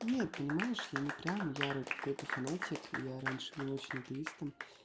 нет понимаешь я не прямо ярый какой-то фанатик я раньше был очень атеистом